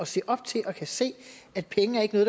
se op til og kan se at penge ikke er